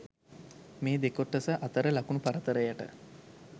මේ දෙකොටස අතර ලකුණු පරතරයට